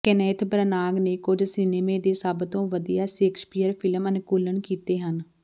Kenneth Branagh ਨੇ ਕੁਝ cinema ਦੇ ਸਭ ਤੋਂ ਵਧੀਆ ਸ਼ੇਕਸਪੀਅਰ ਫਿਲਮ ਅਨੁਕੂਲਨ ਕੀਤੇ ਹਨ